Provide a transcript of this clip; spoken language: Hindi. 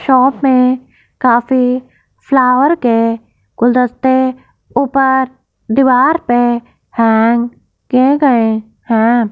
शॉप में काफी फ्लावर के गुलदस्ते ऊपर दीवार पे हैंग किए गये हैं।